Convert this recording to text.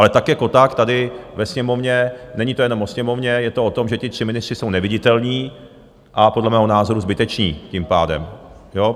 Ale tak jako tak tady ve Sněmovně, není to jenom o Sněmovně, je to o tom, že ti tři ministři jsou neviditelní, a podle mého názoru zbyteční tím pádem.